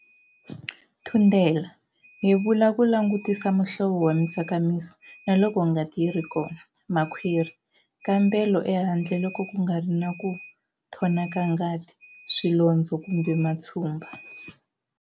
Thundela-Yevula ku langutisa muhlovo wa mitsakamiso na loko ngati yi ri kona. Makhwiri-Kambela ehandle loko ku nga ri na ku nthona ka ngati, swilondzo kumbe matshumba.